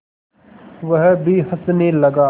वह भी हँसने लगा